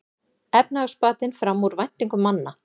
Efnahagsbatinn fram úr væntingum manna